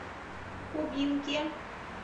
кубинке